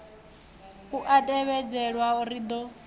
u a tevhedzelwa ri do